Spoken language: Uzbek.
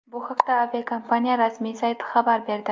Bu haqda aviakompaniya rasmiy sayti xabar berdi .